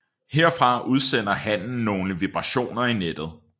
Herfra udsender hannen nogle vibrationer i nettet